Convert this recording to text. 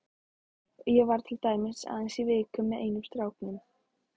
Ég var til dæmis aðeins í viku með einum stráknum.